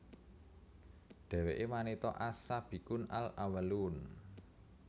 Dheweke wanita as Sabiqun al Awwalun